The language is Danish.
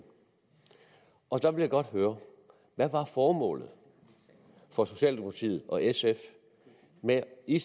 og så vil jeg godt høre hvad var formålet for socialdemokratiet og sf med i